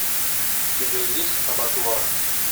у тебя есть абатуар